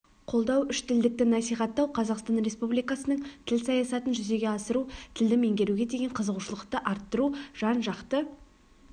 қолдау үштілдікті насихаттау қазақстан республикасының тіл саясатын жүзеге асыру тілді меңгеруге деген қызығушылықты арттыру жан-жақты